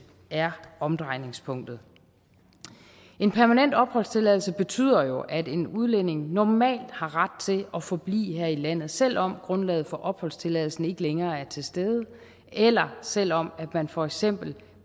er omdrejningspunktet en permanent opholdstilladelse betyder jo at en udlænding normalt har ret til at forblive her i landet selv om grundlaget for opholdstilladelsen ikke længere er til stede eller selv om man for eksempel